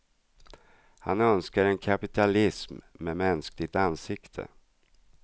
Han önskar en kapitalism med mänskligt ansikte.